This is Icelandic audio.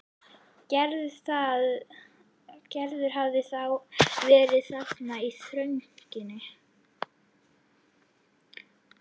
Gerður hafði þá verið þarna í þrönginni.